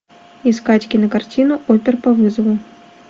искать кинокартину опер по вызову